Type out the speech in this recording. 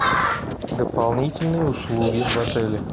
дополнительные услуги в отеле